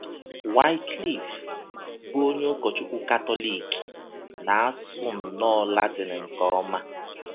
Wycliffe, bụ́ onye ụkọchụkwu Katọlik, na - asụ nnọọ Latịn nke ọma.